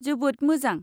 जोबोद मोजां।